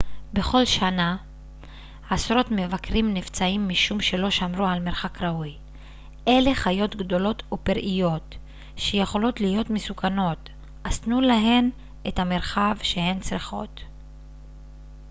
בכל שנה עשרות מבקרים נפצעים משום שלא שמרו על מרחק ראוי אלה חיות גדולות ופראיות שיכולות להיות מסוכנות אז תנו להן את המרחב שהן צריכות